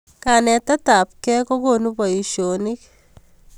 Kanetet ab kei kokonu boishoshek